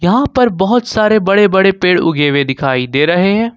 यहां पर बहुत सारे बड़े-बड़े पेड़ उगे हुए दिखाई दे रहे हैं।